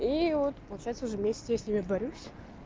и вот получается уже месяц я с ними борюсь